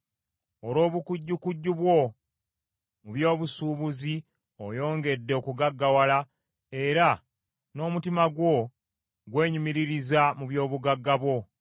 Olw’obukujjukujju bwo mu by’obusuubuzi oyongedde okugaggawala, era n’omutima gwo gwenyumiririza mu byobugagga bwo.”